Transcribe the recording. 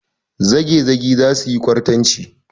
Zagezagi za su yi kwartanci.